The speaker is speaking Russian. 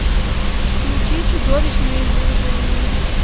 включи чудовищное извержение